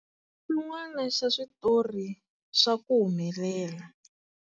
Xin'wana xa switori swa ku humelela swa.